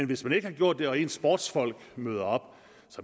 hvis man ikke har gjort det og ens sportsfolk møder op